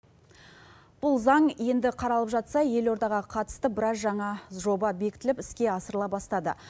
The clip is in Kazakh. бұл заң енді қаралып жатса елордаға қатысты біраз жаңа жоба бекітіліп іске асырыла бастады